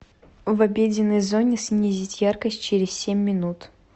в обеденной зоне снизить яркость через семь минут